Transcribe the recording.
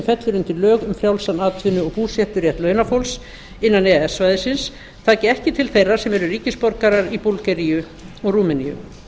fellur undir lög um frjálsan atvinnu og búseturétt launafólks innan e e s svæðisins taki ekki til þeirra sem eru ríkisborgarar í búlgaríu og rúmeníu